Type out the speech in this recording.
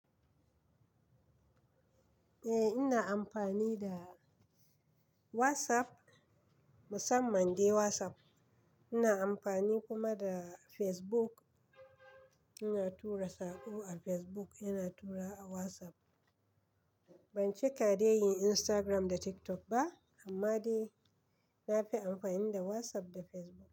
Eh ina amfani da WhatsApp, musamman dai WhatsApp. Ina amfani kuma da Facebook. Ina tura sako a Facebook, ina turawa a WhatsApp. Ban cika dai yin Instagram da TikTok ba amma dai na fi amfani da WhatsApp da Facebook.